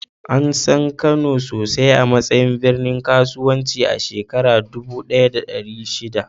An san Kano sosai a matsayin birnin kasuwanci a shekarar dubu ɗaya da ɗari shida.